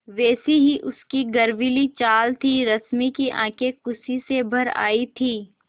वैसी ही उसकी गर्वीली चाल थी रश्मि की आँखें खुशी से भर आई थीं